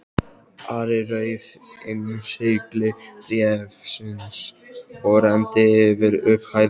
Ari rauf innsigli bréfsins og renndi yfir upphafið.